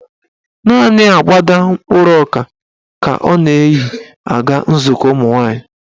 Naanị agbada mkpụrụ ọka ka ọ na-eyi aga nzukọ ụmụnwaanyị.